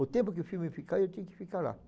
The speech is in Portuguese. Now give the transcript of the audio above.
O tempo que o filme ficar, eu tinha que ficar lá.